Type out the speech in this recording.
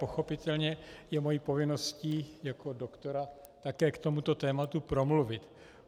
Pochopitelně je mou povinností jako doktora také k tomuto tématu promluvit.